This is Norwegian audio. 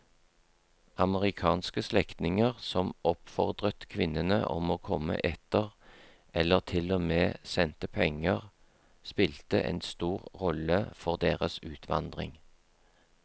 Amerikanske slektninger som oppfordret kvinnene om å komme etter eller til og med sendte penger spilte en stor rolle for deres utvandring.